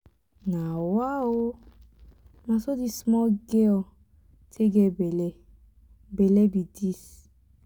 nawa oo! na so dis small girl take get bele bele be dis.